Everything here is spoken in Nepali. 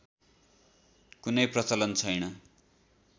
कुनै प्रचलन छैन